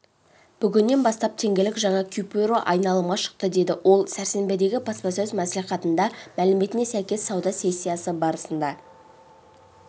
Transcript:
бүгіннен бастап теңгелік жаңа купюраайналымға шықты деді ол сәрсенбідегі баспасөз мәслихатында мәліметіне сәйкес сауда сессиясы барысында